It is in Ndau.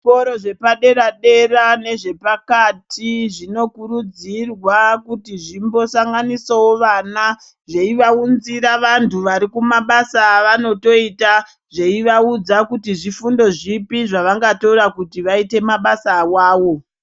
Zvikora zvepa dera dera nezve pakati zvino kurudzirwa kuti zvimbo sanganisawo vana zveiva unzira vantu vari kuma basa avanoto ita zveiva udza kuti zvifundo zvipi zvavanga tora kuti vaite mabasa awawo.